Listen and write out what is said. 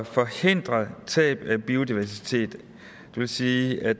forhindre tab af biodiversitet det vil sige af